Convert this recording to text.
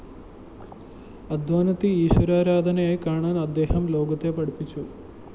അധ്വാനത്തെ ഈശ്വരാരാധനയായി കാണാന്‍ അദ്ദേഹം ലോകത്തെ പഠിപ്പിച്ചു